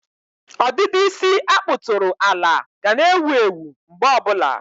ọdịdị isi a kpụtụrụ ala ga na-ewu ewu mgbe ọbụla.